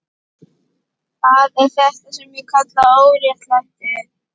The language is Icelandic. Það er þetta sem ég kalla óréttlæti.